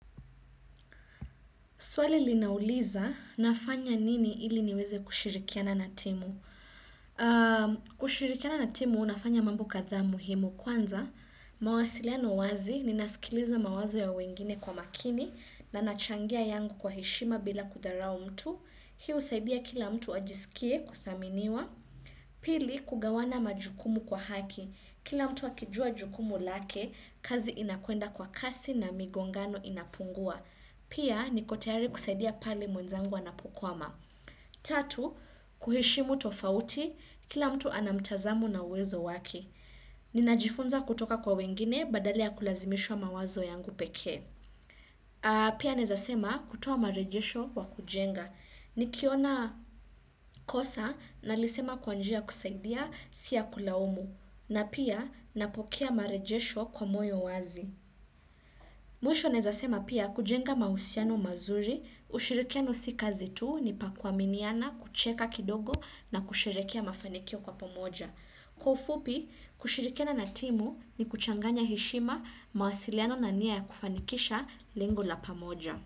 Swali linauliza, nafanya nini ili niweze kushirikiana na timu? Kushirikiana na timu, unafanya mambu kadhaa muhimu. Kwanza, mawasiliano wazi, ninasikiliza mawazo ya wengine kwa makini, na nachangia yangu kwa heshima bila kudharau mtu. Hii husaidia kila mtu ajisikie kuthaminiwa. Pili, kugawana majukumu kwa haki. Kila mtu akijua jukumu lake, kazi inakwenda kwa kasi na migongano inapungua. Pia niko tayari kusaidia pale mwenzangu anapokwama. Tatu, kuheshimu tofauti, kila mtu ana mtazamo na uwezo wake. Ninajifunza kutoka kwa wengine badala ya kulazimisha mawazo yangu pekee. Pia naezasema kutoa marejesho kwa kujenga. Nikiona kosa nalisema kwa njia ya kusaidia si ya kulaumu. Na pia napokea marejesho kwa moyo wazi. Mwisho naezasema pia kujenga mahusiano mazuri, ushirikiano si kazi tu ni pa kuaminiana kucheka kidogo na kusherehekea mafanikio kwa pamoja. Kwa ufupi, kushirikiana na timu ni kuchanganya heshima mawasiliano na nia ya kufanikisha lengo la pamoja.